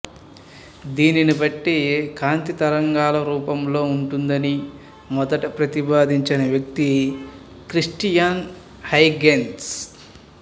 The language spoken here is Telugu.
దీనిని బట్టి కాంతి తరంగాలు రూపంలో ఉంటుందని మొదట ప్రతిపాదించిన వ్యకి క్రిస్టియాన్ హైగెన్స్